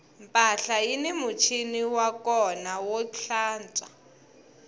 mpahla yini muchini wa kona wo tlantswa